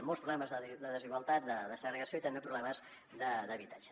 molts problemes de desigualtat de segregació i també problemes d’habitatge